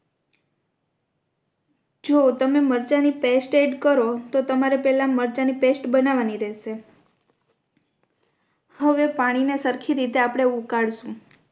જો તમે મરચાં ની paste add કરો તો તમારે પહેલા મરચાં ની paste બનવાની રેહશે હવે પાણી ને સરખી રીતે આપણે ઉકાળશુ